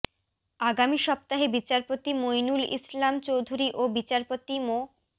আগামী সপ্তাহে বিচারপতি মইনুল ইসলাম চৌধুরী ও বিচারপতি মো